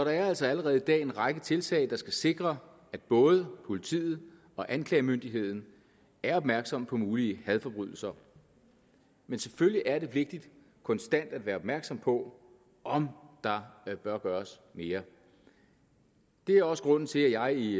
er altså allerede i dag en række tiltag der skal sikre at både politiet og anklagemyndigheden er opmærksomme på mulige hadforbrydelser men selvfølgelig er det vigtigt konstant at være opmærksom på om der bør gøres mere det er også grunden til at jeg i